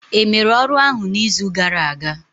Emere ọrụ ahụ n'izu gara aga?